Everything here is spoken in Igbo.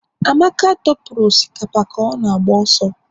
Amaka dọpụrụ osikapa ka ọ na-agba ọsọ